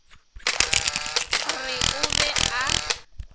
re o be a ba